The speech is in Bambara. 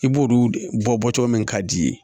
I b'olu de bɔ cogo min ka d'i ye